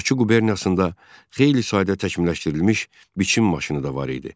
Bakı quberniyasında xeyli sayda təkmilləşdirilmiş biçim maşını da var idi.